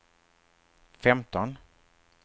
femton